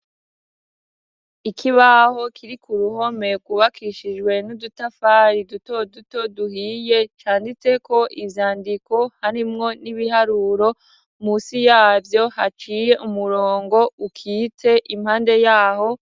Ikibaho kiri ku ruhome, rwubakishijwe n'udutafari duto duto duhiye, canditseko ivy'andiko harimwo n'ibiharuro. Munsi yavyo haciye umurongo ukitse impande yaho.